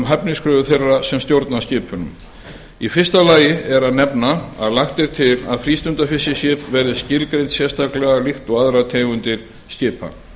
hæfniskröfur þeirra sem stjórna skipunum í fyrsta lagi er að nefna að lagt er til að frístundafiskiskip verði skilgreint sérstaklega líkt og aðrar tegundir skipa